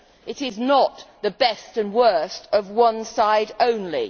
It is not the best and worst of one side only.